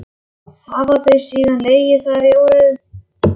Hafa þau síðan legið þar í óreiðu.